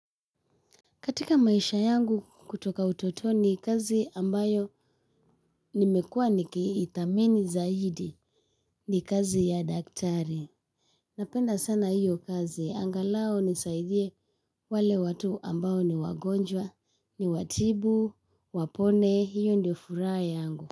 Katika maisha yangu kutoka utotoni kazi ambayo nimekua nikiithamini zaidi ni kazi ya daktari. Napenda sana hiyo kazi angalau hunisaidia wale watu ambayo ni wagonjwa ni watibu, wapone, hiyo ndio furaha yangu.